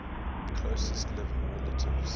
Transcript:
closest living relatives